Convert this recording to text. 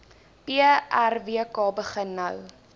prwk begin nou